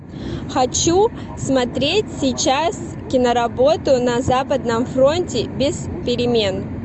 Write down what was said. хочу смотреть сейчас киноработу на западном фронте без перемен